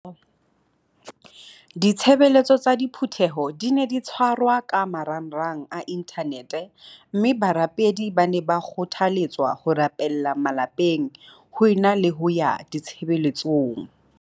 Ditshebeletso tsa diphu theho di ne di tshwarwa ka marangrang a inthanete mme barapedi ba ne ba kgothale tswa ho rapella malapeng ho e na le ho ya ditshebeletsong.